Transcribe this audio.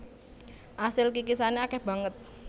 Asil kikisane akeh banget